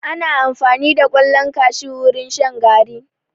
Ana amfani da ƙwallon kashu wurin shan garri.